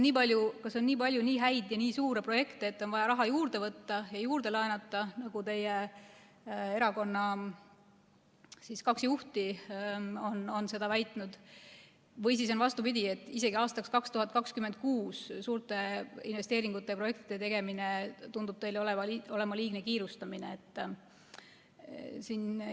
Kas on nii palju nii häid ja nii suuri projekte, et on vaja raha juurde võtta ja juurde laenata, nagu teie erakonna kaks juhti on väitnud, või siis on vastupidi, et isegi aastaks 2026 suurte investeeringute ja projektide tegemine tundub teile olevat liigne kiirustamine?